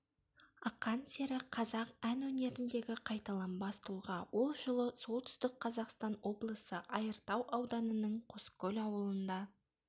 ақан сері қазақ ән өнеріндегі қайталанбас тұлға ол жылы солүтстік қазақстан облысы айыртау ауданының қоскөл ауылында